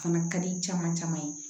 Fana ka di caman caman ye